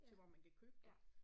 Ja. Ja